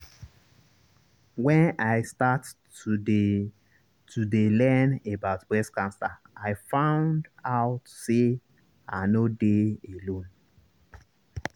wen i start to dey to dey learn about breast cancer i found out say i nor dey alone